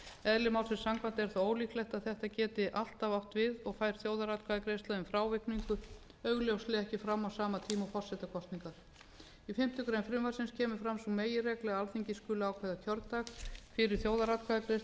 eðli málsins samkvæmt er þó ólíklegt að þetta geti alltaf átt við og fer þjóðaratkvæðagreiðsla um frávikningu augljóslega ekki fram á sama tíma og forsetakosningar í fimmtu grein frumvarpsins kemur fram sú meginregla að alþingi skuli ákveða kjördag fyrir þjóðaratkvæðagreiðslu en